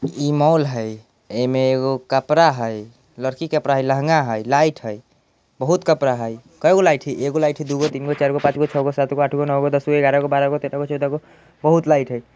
इ मॉल हेय एमे एगो कपड़ा हेय लड़की के कपड़ा हेय लहंगा हेय लाइट हेय बहुत कपड़ा हेय कएगो लाइट हेय एगो लाईट हेय दु गो तीन गो चार गो पाच गो छ गो सात गो आठ गो नो गो दस गो बारा गो तेरा गो चौदह गो बहुत लाइट हेय।